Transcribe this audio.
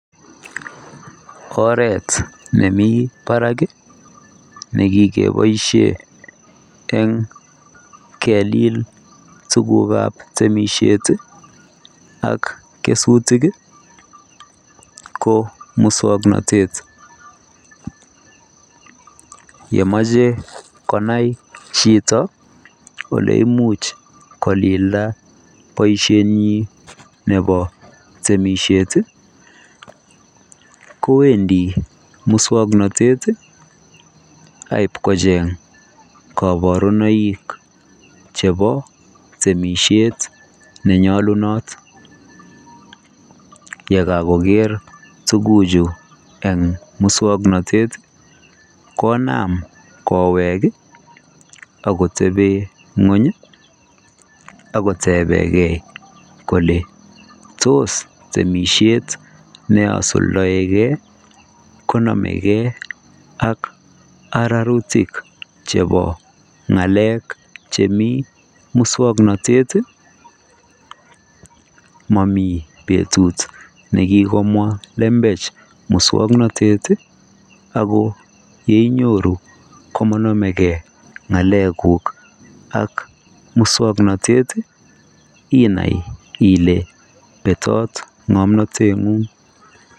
Oret nemi barak en keboishen en kelil ak kesutik ko muswong notet kemoche konai chito oleimuch kolildo boishetnobo temishet kobendi muswongnotet koborunetchebo temishet chenyolunot keger tuguchu muswongnotet konam koweg akoteben ngweny akotebengei tos temishet neasundoigei arutik chebo ngalek chemi muswongnotet momi betut nigikomwa lembech ako kinyoru inai Ile betot ngomnotet